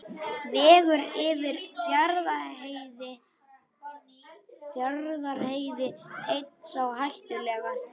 Vegur yfir Fjarðarheiði einn sá hættulegasti